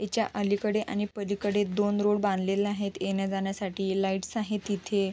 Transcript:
याच्या अलीकडे आणि पलीकडे दोन रोड बांधलेले आहेत येण्या जाण्यासाठी लाइट्स आहेत इथे.